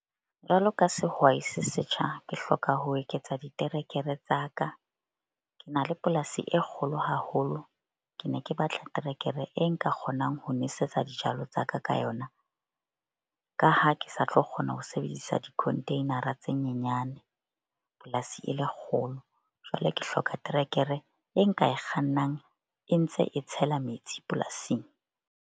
Jwalo ka sehwai se setjha, ke hloka ho eketsa diterekere tsa ka. Ke na le polasi e kgolo haholo. Ke ne ke batla terekere e nka kgonang ho nwesetsa dijalo tsa ka ka yona, ka ha ke sa tlo kgona ho sebedisa di-container-a tse nyenyane polasi e le kgolo. Jwale ke hloka trekere e nka e kgannang e ntse e tshela metsi polasing.